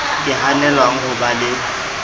ka hanelwang ho ba le